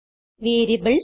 variables